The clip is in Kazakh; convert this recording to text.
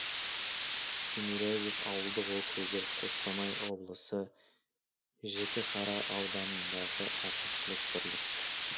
тимирязев ауылдық округі қостанай облысы жітіқара ауданындағы әкімшілік бірлік